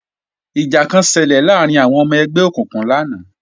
Ìjà kan ṣelẹ̀ láàrín àwọn ọmọ ẹgbẹ́ òkùnkùn lánàá